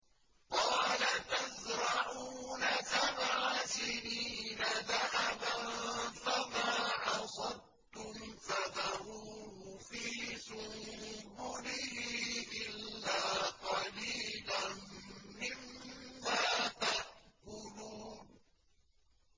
قَالَ تَزْرَعُونَ سَبْعَ سِنِينَ دَأَبًا فَمَا حَصَدتُّمْ فَذَرُوهُ فِي سُنبُلِهِ إِلَّا قَلِيلًا مِّمَّا تَأْكُلُونَ